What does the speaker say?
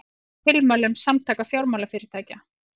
Fagna tilmælum Samtaka fjármálafyrirtækja